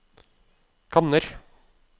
kanner